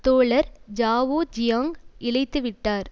தோழர் Zhao Ziyang இழைத்து விட்டார்